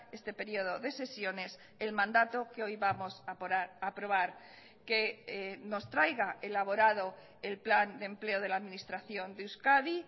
este periodo de sesiones el mandato que hoy vamos a aprobar que nos traiga elaborado el plan de empleo de la administración de euskadi